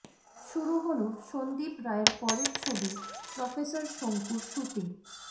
শুরু হল সন্দীপ রায়ের পরের ছবি প্রফেসর শঙ্কুর শুটিং